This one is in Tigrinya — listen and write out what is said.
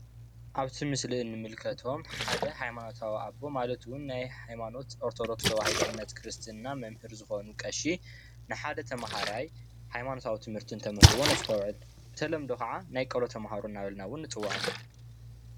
ኣብዚ ምስሊ እንምልከቶም ሓደ ሃይማኖታዊ ኣቦ ማለት እዉን ናይ ሃይማኖት ኦርቶዶክስ ተዋህዶ እምነት ክርስትና መምህር ዝኮኑ ቀሺ ን ሓደ ተምሃራይ ሃይማኖታዊ ትምህርቲ እነተምህርዎ ነሰተዉዕል:: ብተለምዶ ከኣ ናይ ቆሎ ተምሃሮ እንዳበልና እውን ንፅውዖም::